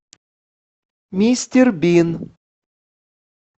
мистер бин